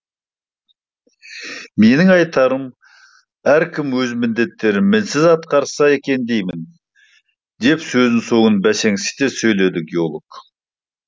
менің айтарым әркім өз міндеттерін мінсіз атқарса екен деймін деп сөз соңын бәсеңсіте сөйледі геолог